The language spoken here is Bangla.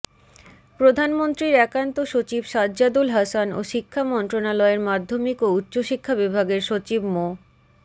প্রধানমন্ত্রীর একান্ত সচিব সাজ্জাদুল হাসান ও শিক্ষা মন্ত্রণালয়ের মাধ্যমিক ও উচ্চশিক্ষা বিভাগের সচিব মো